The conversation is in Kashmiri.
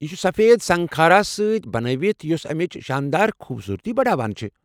یہ چھ سفید سنگ خارا سۭتۍ بنٲوِتھ یُس امِچ شاندار خوبصورتی بڑاوان چھُ ۔